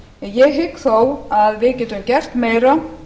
ég hygg þó að við getum gert meira og